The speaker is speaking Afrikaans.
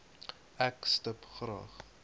ek stip graag